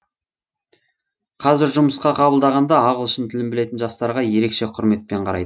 қазір жұмысқа қабылдағанда ағылшын тілін білетін жастарға ерекше құрметпен қарайды